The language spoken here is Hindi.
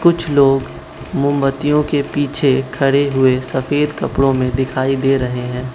कुछ लोग मोमबत्तियों के पीछे खड़े हुए सफेद कपड़ो में दिखाई दे रहे हैं।